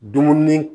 Dumuni